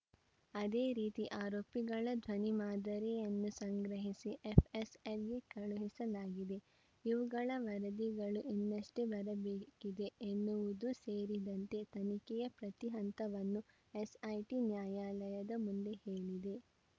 ಅದೇ ರೀತಿ ಆರೋಪಿಗಳ ಧ್ವನಿ ಮಾದರಿಯನ್ನೂ ಸಂಗ್ರಹಿಸಿ ಎಫ್‌ಎಸ್‌ಎಲ್‌ಗೆ ಕಳುಹಿಸಲಾಗಿದೆ ಇವುಗಳ ವರದಿಗಳು ಇನ್ನಷ್ಟೇ ಬರಬೇಕಿದೆ ಎನ್ನುವುದೂ ಸೇರಿದಂತೆ ತನಿಖೆಯ ಪ್ರತಿ ಹಂತವನ್ನೂ ಎಸ್‌ಐಟಿ ನ್ಯಾಯಾಲಯದ ಮುಂದೆ ಹೇಳಿದೆ